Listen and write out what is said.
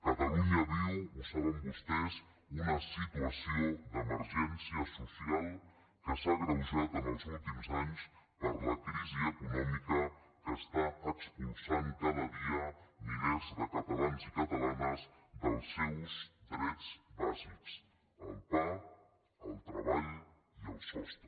catalunya viu ho saben vostès una situació d’emergència social que s’ha agreujat els últims anys per la crisi econòmica que està expulsant cada dia milers de catalans i catalanes dels seus drets bàsics el pa el treball i el sostre